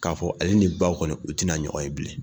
K'a fɔ ale ni ba kɔni u tɛna ɲɔgɔn ye bilen.